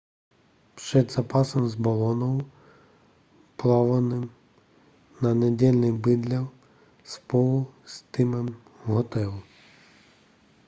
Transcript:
před zápasem s boloňou plánovaným na neděli bydlel spolu s týmem v hotelu